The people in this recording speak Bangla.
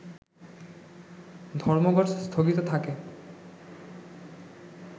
ধর্মঘট স্থগিত থাকে